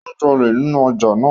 O ń jale ninu ọja naa.